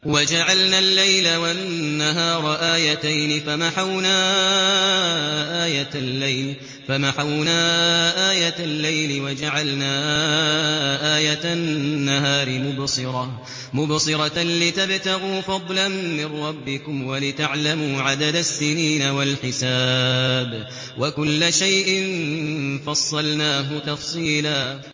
وَجَعَلْنَا اللَّيْلَ وَالنَّهَارَ آيَتَيْنِ ۖ فَمَحَوْنَا آيَةَ اللَّيْلِ وَجَعَلْنَا آيَةَ النَّهَارِ مُبْصِرَةً لِّتَبْتَغُوا فَضْلًا مِّن رَّبِّكُمْ وَلِتَعْلَمُوا عَدَدَ السِّنِينَ وَالْحِسَابَ ۚ وَكُلَّ شَيْءٍ فَصَّلْنَاهُ تَفْصِيلًا